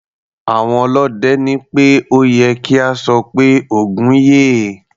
Àwọn ọlọ́dẹ ní pé ó ye kí a sọ pé "Ògún yè".